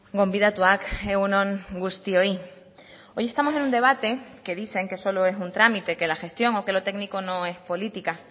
gonbidatuak egun on guztioi hoy estamos en un debate que dicen que solo es un trámite que la gestión o que lo técnico no es política